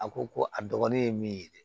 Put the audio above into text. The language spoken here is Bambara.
A ko ko a dɔgɔnin ye min ye dɛ